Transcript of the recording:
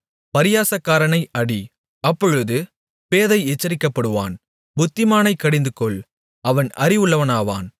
பரியாசக்காரனை அடி அப்பொழுது பேதை எச்சரிக்கப்படுவான் புத்திமானைக் கடிந்துகொள் அவன் அறிவுள்ளவனாவான்